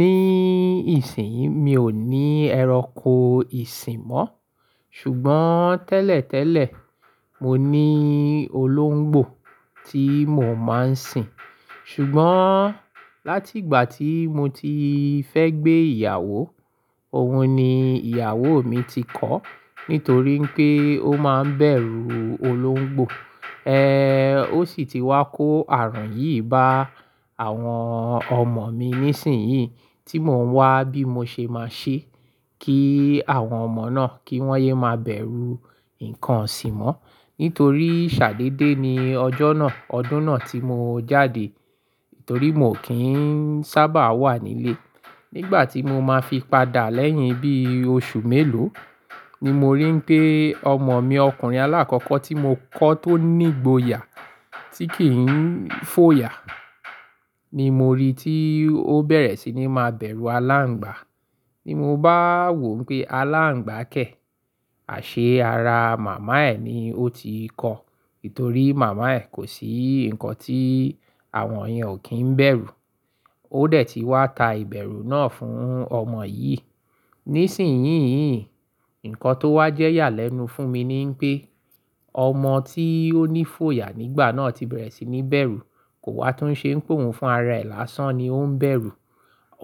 Ní ìsìn yìí mi ò ní ẹranko ìsìn mọ́, ṣùgbọ́n tẹ́lẹ̀tẹ́lẹ̀ mo ní olóńgbò tí mò máa ń sìn. Ṣùgbọ́n láti ìgbà tí mo ti fẹ́ gbé ìyàwó, òhun ni ìyàwó mi ti kọ̀ọ́ nítorí pé ó máa ń bẹ̀rù olóńgbò. Eh, ó sì ti wá kó ààrùn yìí bá àwọn ọmọ mi ní ìsìn yìí tí mò ń wá bí mo ṣe máa ṣe kí àwọn ọmọ náà kí wọ́n yé máa bẹ̀rù ǹkan isìn mọ́. Nítorí ṣàdééde ni ọjọ́ náà, ọdún náà tí mo jáde, torí mio kì n sábà wà nílé. Nígbà tí mo máa fi padà lẹ́yìn bí oṣù mélòó ni mo rí n pé ọmọ mi ọkùnrin alákọ́kọ́ tí mo kọ́ tó ní ìgboyà tí kì n fòyà ni mo rí tí ó bẹ̀rẹ̀ sí ní máa bẹ̀rù aláǹgbá. Ni mo bá wò n pé aláǹgbá kẹ̀, àṣé ara màmá ẹ ni ó ti kọ̀ọ́, ítorí màmá ẹ kò sí ǹkan tí àwọn iyen ò kí ń bẹ̀rù. Ó dẹ̀ ti wá ta ìbẹ̀rù náà fún ọmọ yìí. Nísìnyí yii nkàn tó wá jẹ́ iyà lẹ́nu fún mi ní wipé ọmọ tí ó ní fòyà nígbà náà ti bẹ̀rẹ̀ sí ní bẹ̀rù, kò wá tún ṣe ń pe òhun fún ara rẹ̀ lásán ni ó ń bẹ̀rù.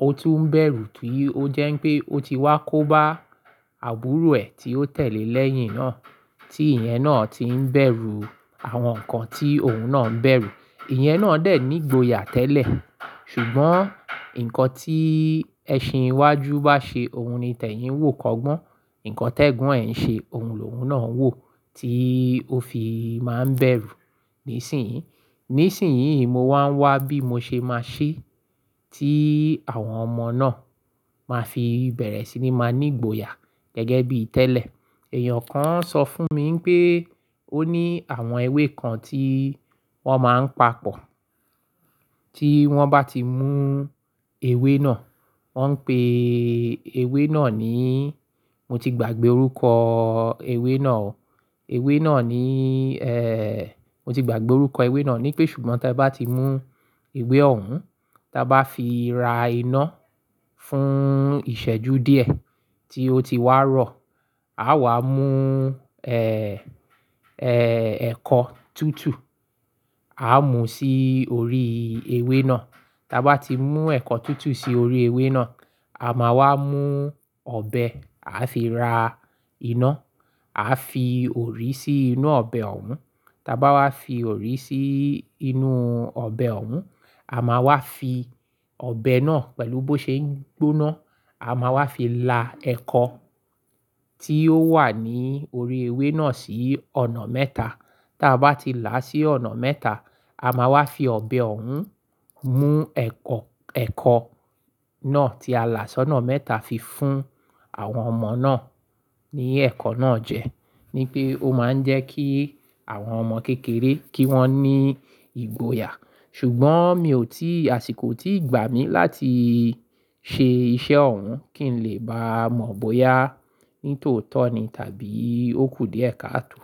Ó tún ń bẹ̀rù tìí ó jẹ́ n pé ó ti wá kó bá àbúrò ẹ tí ó tẹ̀le lẹ́yín náà tí ìyẹn náà ti ń bẹ̀rù àwọn ǹkan tí òhun náà ń bẹ̀rù. Ìyẹn náà dè ní ìgboyà tẹ́lẹ̀. Ṣùgbọ́n ǹkan tí ẹṣin iwájú bá ṣe òhun ni tẹ̀yìn n wò kọgbọ́n. Ǹkan tẹ́gbon ẹ ń ṣe, òhun lòhun náà ń wò tí ó fi máa ń bẹ̀rù nísìnyí. Nísìnyí mo wá ń wá bí mo ṣe máa ṣe tí àwọn ọmọ náà máa fi bẹ̀rẹ̀ sí ní máa ní ìgboyà gẹ́gẹ́ bí tẹ́lẹ̀. Eèyàn kan sọ fún mi wipé ó ní àwọn ewé kan tí wọ́n máa ń papọ̀. Tí wọ́n bá ti mú ewé náà, wọ́n ń pe ewé náà ní-- mo ti gbàgbé orúkọ ewé náà. Ewé náà ní, eh, mo ti gbàgbé orúkọ ewé náà ní pé ṣùgbọ́n te bá ti mú ewé òhun, ta bá fi ra iná fún ìṣẹ́jú díẹ̀ tí ó ti wá rọ̀, a wà mú, ẹ́, ẹ́, ẹ̀kọ́ tútù a mú sí orí ewé náà. Ta bá ti mú ẹ̀kọ́ tútù sí orí ewé náà, a máa wá mú ọbẹ̀ a fi ra iná, a fi òrí sí inú ọbẹ̀ òhun. Ta bá wá fi òrí sí inú ọbẹ̀ òhun, a máa wá fi ọbẹ̀ náà pẹ̀lú bó ṣe ń gbóná, a máa wá fi la ẹ̀kọ́ tí ó wà ní orí ewé náà sí ọ̀nà mẹ́ta. Taa bá ti làá sí ọ̀nà mẹ́ta, a máa wá fi ọbẹ̀ òhun mú ẹ̀kọ́, ẹ̀kọ́ náà tí a là sí ọ̀nà mẹ́ta fi fún àwọn ọmọ náà ní ẹ̀kọ́ náà jẹ. Ni pé ó máa ń jẹ́ kí àwọn ọmọ kékeré kí wọ́n ní ìgboyà. Ṣùgbọ́n mi ò tí, àsìkò ò tíì gbà mí láti ṣe iṣẹ́ òhun kí n lè bá mọ̀ bóyá ní tòótọ́ ni tàbí ó kù díẹ̀ káàtò.